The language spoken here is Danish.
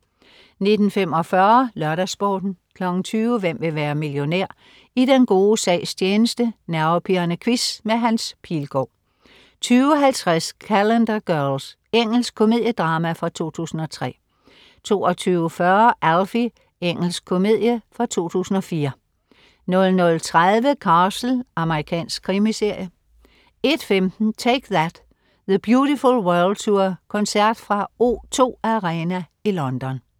19.45 LørdagsSporten 20.00 Hvem vil være millionær? I den gode sags tjeneste. Nervepirrende quiz med Hans Pilgaard 20.50 Calendar Girls. Engelsk komediedrama fra 2003 22.40 Alfie. Engelsk komedie fra 2004 00.30 Castle. Amerikansk krimiserie 01.15 Take That. The Beautiful World Tour. Koncert fra O2 Arena i London